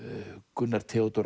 Gunnar Theódór